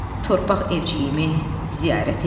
Torpaq evciyimi ziyarət eləyim.